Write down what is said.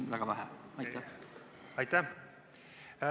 Aitäh!